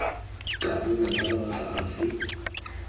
ka nna ka mabaka afe